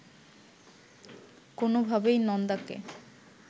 কোনোভাবেই নন্দাকে